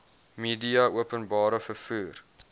media openbare vervoer